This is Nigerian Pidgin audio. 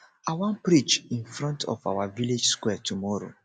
i wan preach in front of our village square tomorrow